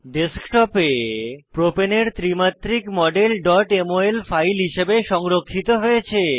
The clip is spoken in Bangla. ডেস্কটপ এ প্রপাণে প্রোপেন এর ত্রি মাত্রিক মডেল mol ফাইল হিসাবে সংরক্ষিত হয়েছে